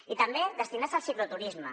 i també destinar se al cicloturisme